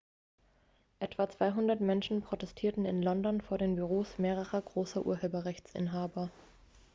etwa 200 menschen protestierten in london vor den büros mehrerer großer urheberrechtsinhaber